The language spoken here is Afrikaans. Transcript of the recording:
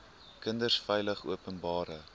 kinders veilig openbare